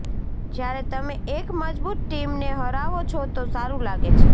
જ્યારે તમે એક મજબુત ટીમને હરાવો છો તો સારુ લાગે છે